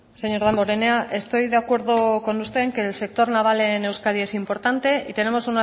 señor damborenea estoy de acuerdo con usted de que el sector naval en euskadi es importante y tenemos